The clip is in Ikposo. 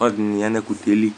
Ɔlɔdɩnɩ ya nʋ ɛkʋtɛ yɛ li